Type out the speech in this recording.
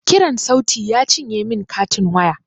Kiran sauti ya cinye min katin waya